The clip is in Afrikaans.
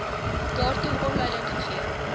daartoe aanleiding gee